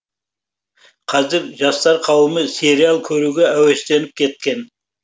қазір жастар қауымы сериал көруге әуестеніп кеткен